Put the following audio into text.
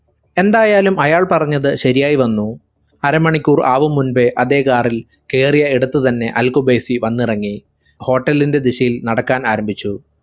എന്തായാലും അയാൾ പറഞ്ഞത് ശരിയായി വന്നു അരമണിക്കൂർ ആവും മുമ്പേ അതേ car ൽ കേറിയ ഇടത്തു തന്നെ അൽ ഖുബൈസി വന്നിറങ്ങി hotel ന്റെ ദിശയിൽ നടക്കാൻ ആരംഭിച്ചു